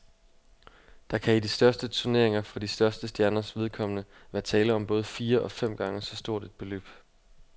Der kan i de største turneringer for de største stjerners vedkommende være tale om både fire og fem gange så stort et beløb.